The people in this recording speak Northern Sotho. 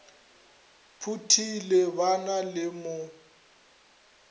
phuthile ba na le mo